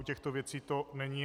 U těchto věcí to není.